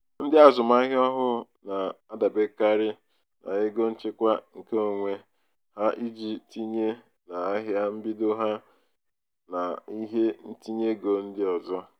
"ndị azụmahịa ọhụụ na-adaberekarị n'ego nchekwa nke onwe onwe ha iji tinye na ahịa mbido ha na ihe ntinyeego ndị ọzọ. "